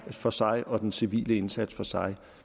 for sig og den civile indsats for sig